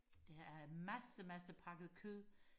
der er en masse masse pakket kød